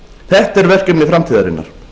þetta er verkefni framtíðarinnar